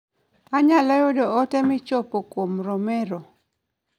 Anyalo yudo ote michopo kuom romero